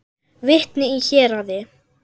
Vitni í héraði.